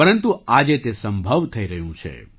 પરંતુ આજે તે સંભવ થઈ રહ્યું છે